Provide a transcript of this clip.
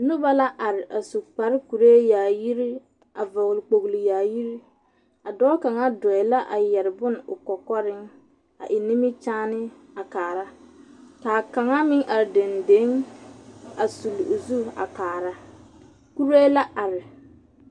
Noba la are a su kpare kuree yaayiri, a vͻgele kpogili yaayiri. A dͻͻ kaŋa dͻͻԑ la a yԑre bone o kͻkͻreŋ a eŋ nimikyaane a kaara. Ka kaŋa meŋ are dendeŋe a sulli o zu a kaara. Kuree la are.